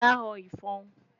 da họ ifọ̀n